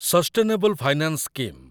sustainable finance scheme